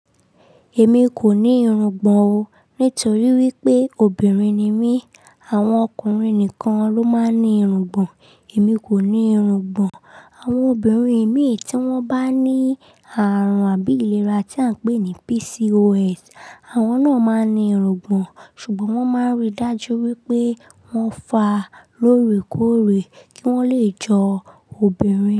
Èmi kò ní irungbọ̀n o, nítorí wípé obìnrin ni mí. Àwọn ọkùnrin nìkan ló máa ń ní irungbọ̀n. Èmi kò ní irungbọ̀n. Àwọn obìnrin imí tí wọ́n bá ní àrùn àbí ìlera tí à ń pè ní PCOS, àwọn náà máa ń ní irungbọ̀n. Ṣùgbọ́n wọ́n máa ń rí dájú wípé wọ́n fà á lóore kóóre kí wọ́n lè jọ obìnrin.